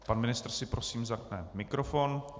Pan ministr si prosím zapne mikrofon.